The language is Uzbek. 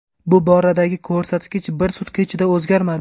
Bu boradagi ko‘rsatkich bir sutka ichida o‘zgarmadi.